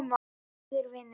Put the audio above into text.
Flýttu þér, vinur.